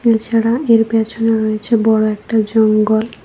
এছাড়া এর পেছনে রয়েছে বড়ো একটা জঙ্গল।